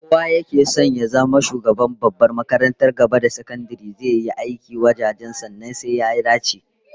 Kowa yake son ya zama shugaban babbar makarantar gaba da sakandare zai yi aiki wurjanjan, sannan sai ya dace